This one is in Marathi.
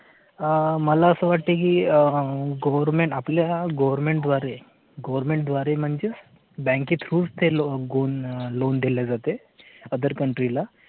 मला असं वाटतं की आह government आपल्या government द्वारे government द्वारे म्हणजे bank through loan दिले जाते. other country ला